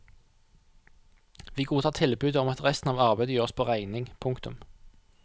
Vi godtar tilbudet om at resten av arbeidet gjøres på regning. punktum